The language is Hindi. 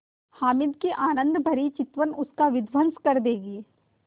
हामिद की आनंदभरी चितवन उसका विध्वंस कर देगी